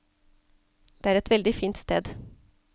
Det er et veldig fint sted.